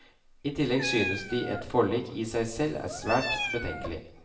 I tillegg synes de et forlik i seg selv er svært betenkelig.